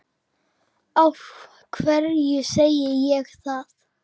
Af hverju segi ég það?